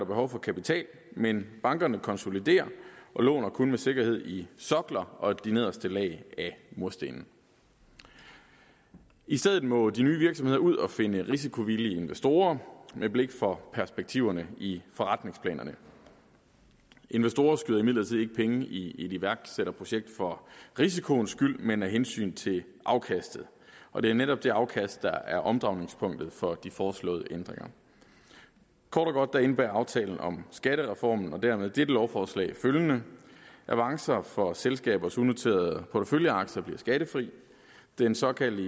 behov for kapital men bankerne konsoliderer og låner kun med sikkerhed i sokler og de nederste lag af murstenene i stedet må de nye virksomheder ud at finde risikovillige investorer med blik for perspektiverne i forretningsplanerne investorer skyder imidlertid ikke penge i et iværksætterprojekt for risikoens skyld men af hensyn til afkastet og det er netop det afkast der er omdrejningspunktet for de foreslåede ændringer kort og godt indebærer aftalen om skattereformen og dermed dette lovforslag følgende avancer for selskabers unoterede porteføljeaktier bliver skattefri den såkaldte